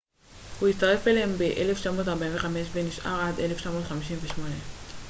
הוא הצטרף אליהם ב-1945 ונשאר עד 1958